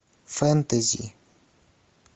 фэнтези